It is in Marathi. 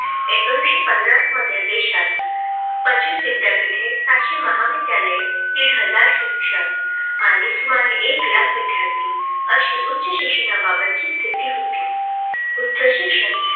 एकोणीसशे पन्नास मध्ये देशात पंचवीस विद्यापीठे सातशे महाविद्यालय दीड हजार शिक्षक आणि सुमारे एक लाख विद्यार्थी अशी उच्चशिक्षणाबाबतची स्थिती होती. उच्च शिक्षण